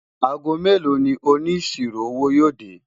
àgó mélò ní òní síró owó yo dé?